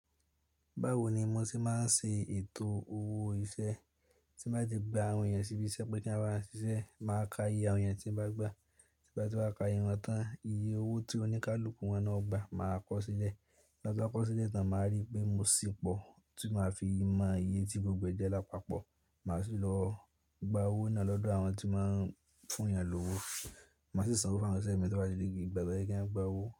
Báwo ni mo se máa ń ṣe ètò owó iṣẹ́ tí bá ti gba àwọn ènìyàn síbí iṣẹ́ pé tí wọ́n bá ń ṣiṣẹ́, máa ka iye àwọn ènìyàn tí ń bá gbà, tí bá ti máa ka iye won tán. Iye owó tí oníkálukú wọn náà ó gba máa kọ sílẹ̀. Tibati wa kọ sílẹ̀, tan máa rí pé mo sì pọ̀ tí máa fi mọ iye tí gbogbo jẹ́ lápapọ̀. Màá sì lọ gba owó náà lọ́dọ̀ àwọn tí máa ń fún ènìyàn ní owó. Màá sì sanwó fún àwọn ẹṣin mẹ́ta tó bá dé gbigba bẹ́ẹ̀ kí wọ́n gba owó.